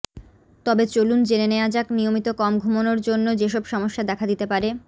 তবে চলুন জেনে নেয়া যাক নিয়মিত কম ঘুমানোর জন্য যেসব সমস্যা দেখা দিতে পারেঃ